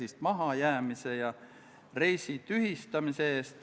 Austatud ettekandja, teile küsimusi ei ole.